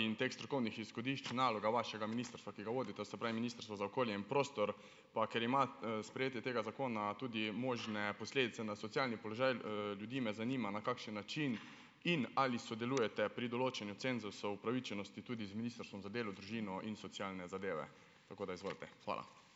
in teh strokovnih izhodišč naloga vašega ministrstva, ki ga vodite, se pravi Ministrstvo za okolje in prostor. Pa ker ima, sprejetje tega zakona tudi možne posledice na socialni položaj, ljudi, me zanima, na kakšen način in ali sodelujete pri določanju cenzusov upravičenosti tudi z Ministrstvom za delo, družino in socialne zadeve. Tako da izvolite, hvala.